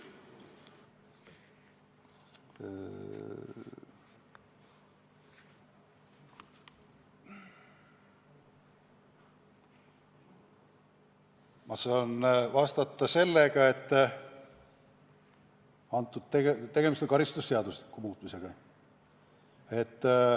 Ma saan vastata sedasi, et tegemist on karistusseadustiku muutmisega.